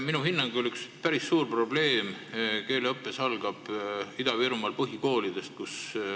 Minu hinnangul algab keeleõppes üks päris suur probleem Ida-Virumaal põhikoolidest.